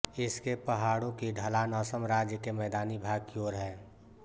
इसके पहाड़ों की ढलान असम राज्य के मैदानी भाग की ओर है